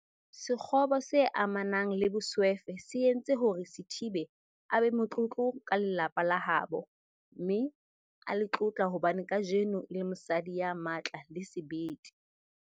Sekgobo se amanang le boswefe se entse hore Sithibe a be motlotlo ka lelapa la habo, mme a le tlotla hobane kajeno e le mosadi ya matla le sebete.